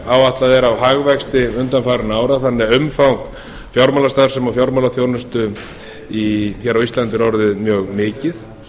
áætlað er af hagvexti undanfarinna ára þannig að umfang fjármálastarfsemi og fjármálaþjónustu hér á íslandi er orðið mjög mikið